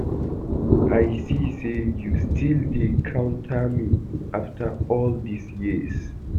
I see say you still dey counter me after all dis years